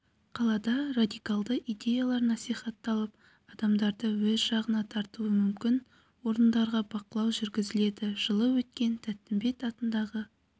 қалада радикалды идеялар насихатталып адамдарды өз жағына тартуы мүмкін орындарға бақылау жүргізіледі жылы өткен тәттімбет атындағы